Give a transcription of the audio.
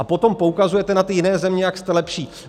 A potom poukazujete na ty jiné země, jak jste lepší.